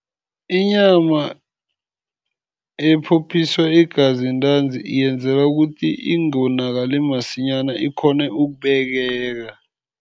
Inyama ephophiswa igazi ntanzi yenzelwa ukuthi ingonakali masinyana, ikghone ukubekeka.